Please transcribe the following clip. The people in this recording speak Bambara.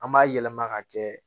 An b'a yɛlɛma ka kɛ